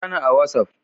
Kirani a watsaf!